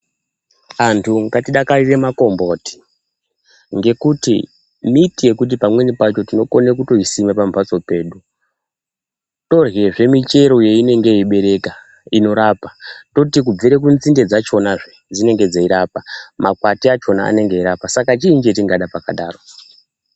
Antu ngatidakarire makomboti ngekuti miti yekuti pamweni pacho tinokone kutoisima pamhatso pedu torye zve michero yeinonge yeibereka inorapa toti kubve kunzinde dzachonazve dzinenge dzeirapa toti kubvire makwati achona anenge eirapa saka chini chatingada pakadaro.